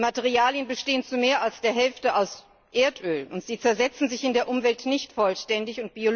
Die Materialien bestehen zu mehr als der Hälfte aus Erdöl, und sie zersetzen sich in der Umwelt nicht vollständig.